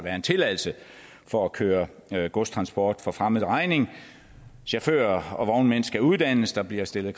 en tilladelse for at køre godstransport for fremmed regning chauffører og vognmænd skal uddannes der bliver stillet